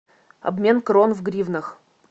обмен крон в гривнах